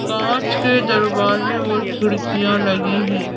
कांच के दरवाजे और खिड़कियां लगे हैं।